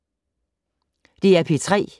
DR P3